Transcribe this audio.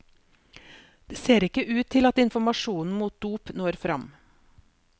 Det ser ikke ut til at informasjonen mot dop når frem.